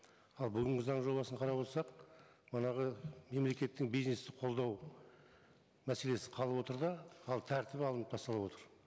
ал бүгінгі заң жобасын қарап отырсақ мемлекеттің бизнесті қолдау мәселесі қалып отыр да ал тәртібі алынып тасталып отыр